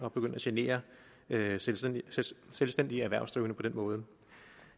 at begynde at genere selvstændige selvstændige erhvervsdrivende på den måde